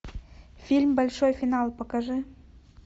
фильм большой финал покажи